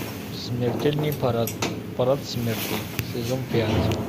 смертельный парад парад смерти сезон пять